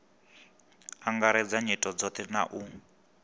angaredza nyito dzothe na u